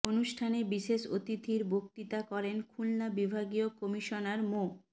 অনুষ্ঠানে বিশেষ অতিথির বক্তৃতা করেন খুলনা বিভাগীয় কমিশনার মো